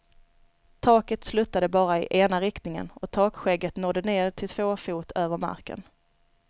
Taket sluttade bara i ena riktningen, och takskägget nådde ned till två fot över marken.